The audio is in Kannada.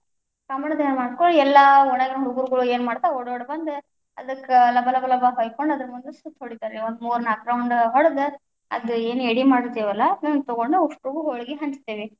ಕಾಮಣ್ಣ ದಹನ ಆದ್‌ ಕುಳ್ಳೆನ್‌ ಎಲ್ಲಾ ಓಣೆಯಾಗಿನ ಹುಡುಗುರು ಏನ್ ಮಾಡ್ತಾವ ಓಡೋಡ ಬಂದ್, ಅದಕ್ಕ ಲಬ ಲಬ ಲಬ ಹೊಯ್ಕೊಂಡು ಅದರ ಮುಂದ ಸುತ್ ಹೊಡಿತಾರ್ರಿ, ಒಂದ ಮೂರ ನಾಲ್ಕ round ಹೊಡೆದ್, ಅದ್ ಎನ್ ಯಡಿ ಮಾಡಿರ್ತೀವಲ್ಲ ಅದನ್ನ ತಗೊಂಡು ಉಸ್ಟುಗು೯ ಹೋಳಗಿ ಹಂಚುತತೇವಿ.